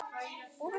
Þögnin er rofin.